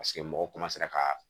Paseke mɔgɔ ka